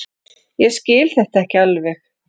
Ég skil þetta ekki alveg.